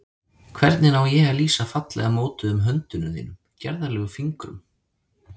Hvernig á ég að lýsa fallega mótuðum höndum þínum, gerðarlegum fingrum?